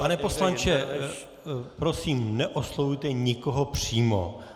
Pane poslanče, prosím, neoslovujte nikoho přímo.